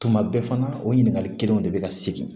Tuma bɛɛ fana o ɲininkali kelenw de bɛ ka segin